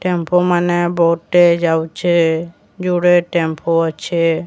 ଟ୍ୟାମ୍ପ ମାନେ ବହୁଟେ ଯାଉଛେ ଯୁଡ଼େ ଟ୍ୟାମ୍ପ ଅଛେ।